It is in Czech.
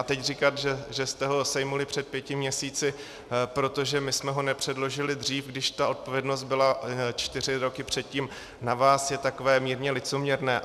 A teď říkat, že jste ho sejmuli před pěti měsíci, protože my jsme ho nepředložili dřív, když ta odpovědnost byla čtyři roky předtím na vás, je takové mírně licoměrné.